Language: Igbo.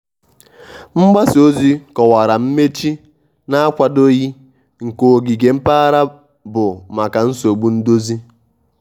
mgbasa ozi kọwara mmechi na-akwadoghị nke ogige mpaghara bụ maka nsogbu ndozi.